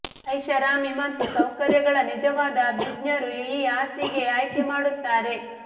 ಐಷಾರಾಮಿ ಮತ್ತು ಸೌಕರ್ಯಗಳ ನಿಜವಾದ ಅಭಿಜ್ಞರು ಈ ಹಾಸಿಗೆ ಆಯ್ಕೆ ಮಾಡುತ್ತಾರೆ